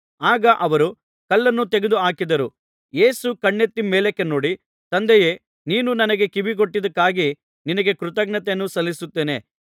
ಆಗ ಅವರು ಕಲ್ಲನ್ನು ತೆಗೆದು ಹಾಕಿದರು ಯೇಸು ಕಣ್ಣೆತ್ತಿ ಮೇಲಕ್ಕೆ ನೋಡಿ ತಂದೆಯೇ ನೀನು ನನಗೆ ಕಿವಿಗೊಟ್ಟಿದ್ದಕ್ಕಾಗಿ ನಿನಗೆ ಕೃತಜ್ಞತೆಯನ್ನು ಸಲ್ಲಿಸುತ್ತೇನೆ